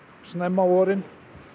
snemma á vorin